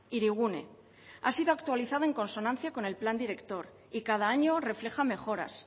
hirigune ha sido actualizada en consonancia con el plan director y cada año refleja mejoras